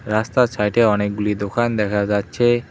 রাস্তার ছাইডে অনেকগুলি দোকান দেখা যাচ্ছে।